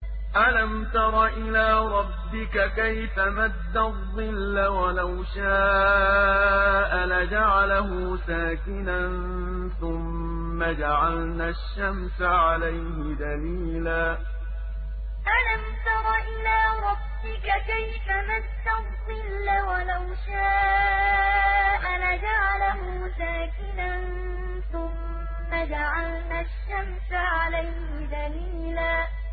أَلَمْ تَرَ إِلَىٰ رَبِّكَ كَيْفَ مَدَّ الظِّلَّ وَلَوْ شَاءَ لَجَعَلَهُ سَاكِنًا ثُمَّ جَعَلْنَا الشَّمْسَ عَلَيْهِ دَلِيلًا أَلَمْ تَرَ إِلَىٰ رَبِّكَ كَيْفَ مَدَّ الظِّلَّ وَلَوْ شَاءَ لَجَعَلَهُ سَاكِنًا ثُمَّ جَعَلْنَا الشَّمْسَ عَلَيْهِ دَلِيلًا